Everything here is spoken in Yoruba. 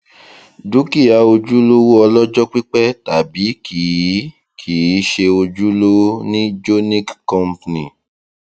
dúkìá ojúlówó ọlọjọ pípẹ tàbí kìí kìí ṣe ojúlówó ni jonick company